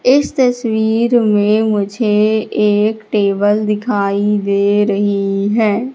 इस तस्वीर में मुझे एक टेबल दिखाई दे रही है।